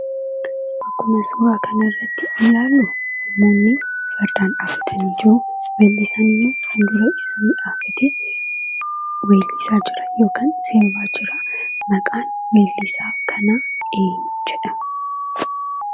Akkuma suuraa kanarratti ilaalluu namoonni fardaan dhaabbatanii jiru, weellisaanimmoo fuuldura isaanii dhaabbatee weellisaa jira yookaan sirbaa jiraa, maqaan weellisaa kanaa eenyu jedhama?